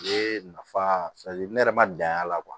Ne nafa ne yɛrɛ ma dan y'a la